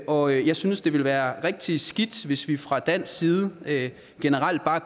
og jeg synes det ville være rigtig skidt hvis vi fra dansk side generelt bare